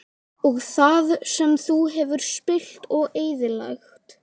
Og það sem þú hefur spillt og eyðilagt?